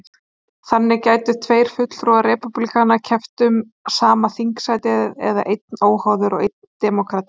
Þannig gætu tveir fulltrúar repúblikana keppt um sama þingsætið, eða einn óháður og einn demókrati.